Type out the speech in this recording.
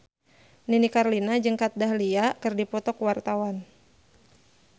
Nini Carlina jeung Kat Dahlia keur dipoto ku wartawan